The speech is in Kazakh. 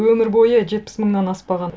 өмір бойы жетпіс мыңнан аспаған